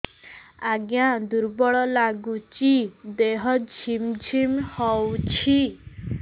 ଆଜ୍ଞା ଦୁର୍ବଳ ଲାଗୁଚି ଦେହ ଝିମଝିମ ହଉଛି